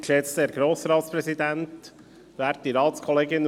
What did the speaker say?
Kommissionspräsident der FiKo.